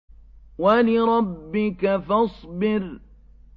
وَلِرَبِّكَ فَاصْبِرْ